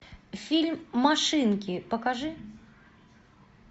фильм машинки покажи